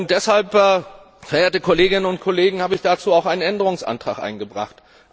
Deshalb, verehrte Kolleginnen und Kollegen, habe ich dazu auch einen Änderungsantrag eingebracht.